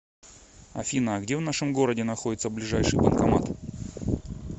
афина а где в нашем городе находится ближайший банкомат